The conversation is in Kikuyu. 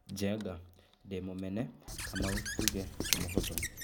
Njenga: 'Ndĩmũmene' Kamau tuge ti mũhũthũ.